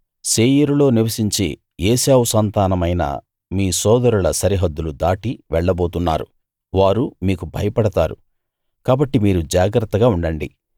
శేయీరులో నివసించే ఏశావు సంతానమైన మీ సోదరుల సరిహద్దులు దాటి వెళ్లబోతున్నారు వారు మీకు భయపడతారు కాబట్టి మీరు జాగ్రత్తగా ఉండండి